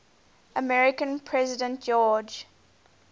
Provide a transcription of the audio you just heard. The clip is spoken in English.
american president george